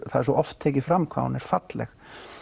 það er svo oft tekið fram hvað hún er falleg